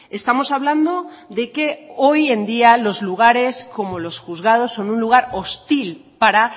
estamos hablando de que hoy en día los lugares como los juzgados son un lugar hostil para